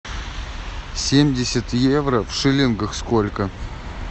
семьдесят евро в шиллингах сколько